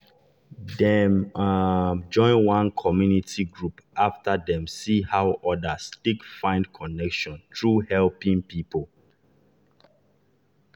dem dem um join one community group after dem see how others take find connection through helping people.